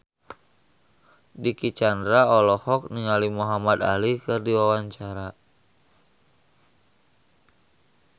Dicky Chandra olohok ningali Muhamad Ali keur diwawancara